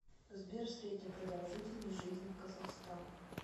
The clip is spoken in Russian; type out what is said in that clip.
сбер средняя продолжительность жизни в казахстан